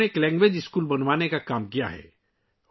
انہوں نے ایک لینگویج اسکول بنانے کا کام کیا ہے